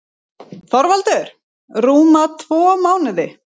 ÞORVALDUR: Rúma tvo mánuði.